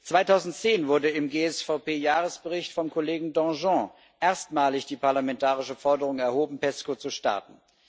2010 wurde im GSVP Jahresbericht vom Kollegen Danjean erstmalig die parlamentarische Forderung erhoben, PESCO zu starten.